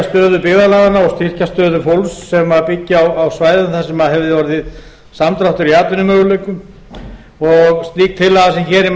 styrkja stöðu byggðarlaganna og styrkja stöðu fólks sem byggi á svæðum þar sem hefði orðið samdráttur í atvinnumöguleikum og slík tillaga sem hér er